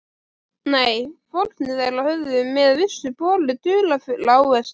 Nei, fórnir þeirra höfðu með vissu borið dularfulla ávexti.